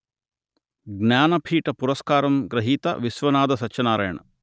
జ్ఞానపీఠ పురస్కారం గ్రహీత విశ్వనాథ సత్యనారాయణ